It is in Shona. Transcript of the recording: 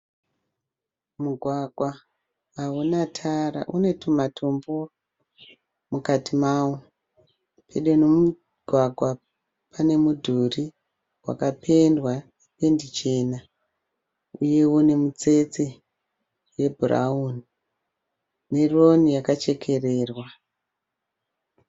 Mugwagwa hauna tara une tumatombo mukati mawo. Pedo nemugwagwa pane mudhuri wakapendwa nependi chena uyewo nemutsetse yebhurawuni neroni yakachekererwa.